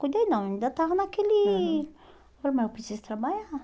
Cuidei não, ainda tava naquele... Uhum. Falei, mas eu preciso trabalhar.